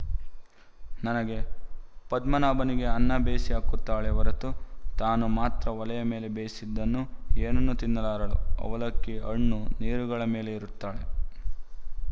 ನನಗೆ ಪದ್ಮನಾಭನಿಗೆ ಅನ್ನ ಬೇಯಿಸಿ ಹಾಕುತ್ತಾಳೇ ಹೊರತು ತಾನು ಮಾತ್ರ ಒಲೆಯ ಮೇಲೆ ಬೇಯಿಸಿದ್ದನ್ನು ಏನನ್ನೂ ತಿನ್ನಲಾರಳು ಅವಲಕ್ಕಿ ಹಣ್ಣು ನೀರುಗಳ ಮೇಲೇ ಇರುತ್ತಾಳೆ